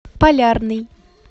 полярный